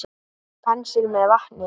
Penslið með vatni.